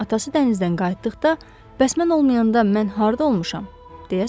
Atası dənizdən qayıtdıqda: Bəs mən olmayanda mən harda olmuşam?